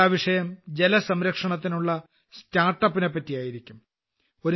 ചർച്ചാവിഷയം ജലസംരക്ഷണത്തിനുള്ള start ups നൈ പറ്റിയായിരിക്കും